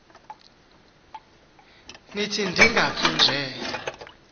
nithi ndingafi nje